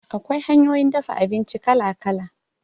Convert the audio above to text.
Akwai hanyoyin dafa abinci kala-kala.